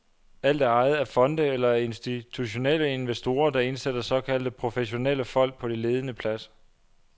Alt er ejet af fonde eller af institutionelle investorer, der indsætter såkaldte professionelle folk på de ledende pladser.